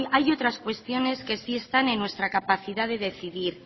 hay otras cuestiones que sí están en nuestra capacidad de decidir